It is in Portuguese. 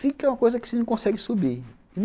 Fica uma coisa que você não consegue subir.